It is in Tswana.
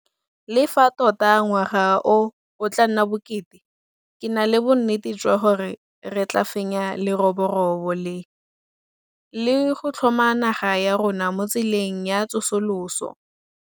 Le fa tota ngwaga o o tla nna bokete, ke na le bonnete jwa gore re tla fenya leroborobo le, le go tlhoma naga ya rona mo tseleng ya tsosoloso.